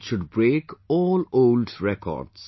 should break all old records